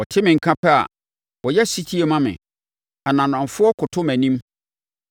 Wɔte me nka pɛ a, wɔyɛ ɔsetie ma me; ananafoɔ koto mʼanim.